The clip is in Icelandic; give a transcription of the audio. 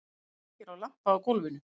Kveikir á lampa á gólfinu.